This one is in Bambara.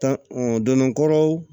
Tan donnakɔrɔw